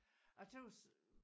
Jeg tøs